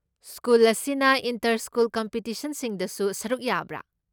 School ꯑꯁꯤꯅ inter school ꯀꯝꯄꯤꯇꯤꯁꯟꯁꯤꯡꯗꯁꯨ ꯁꯔꯨꯛ ꯌꯥꯕ꯭ꯔꯥ?